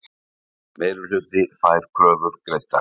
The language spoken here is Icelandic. Meirihluti fær kröfur greiddar